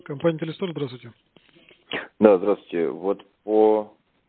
компания телестор здравствуйте да здравствуйте вот по